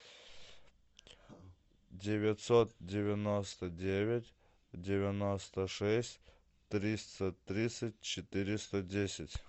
девятьсот девяносто девять девяносто шесть триста тридцать четыреста десять